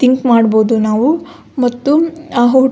think ಮಾಡ್ಬಹುದು ನಾವು ಮತ್ತು ಆ --